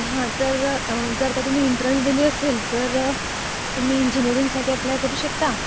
हा. तर जर का तुम्ही एंट्रन्स दिली असेल तर तुम्ही इंजिनियरिंगसाठी अप्लाय करू शकता